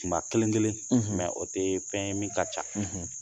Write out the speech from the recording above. Tuma kelen-kelen o tɛ fɛn ye min ka ca